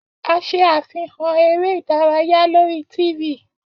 A ṣe afihan ere idaraya lori t.v.